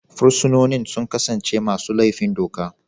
Fursunonin sun kasance masu laifin doka.